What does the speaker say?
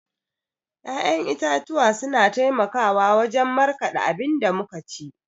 ya'yan itatuwa suna taimakawa wajan markada abinda muka ci